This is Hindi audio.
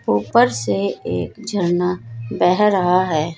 ऊपर से एक झरना बह रहा है।